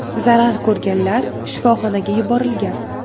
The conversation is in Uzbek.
Zarar ko‘rganlar shifoxonaga yuborilgan.